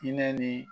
Hinɛ ni